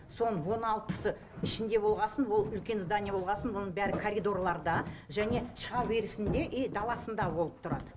соның он алтысы ішінде болғасын ол үлкен здание болғасын оның бәрі коридорларда және шыға берісінде и даласында болып тұрады